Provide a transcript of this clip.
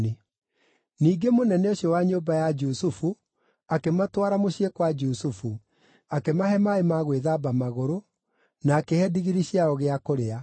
Ningĩ mũnene ũcio wa nyũmba ya Jusufu akĩmatwara mũciĩ kwa Jusufu, akĩmahe maaĩ ma gwĩthamba magũrũ, na akĩhe ndigiri ciao gĩa kũrĩa.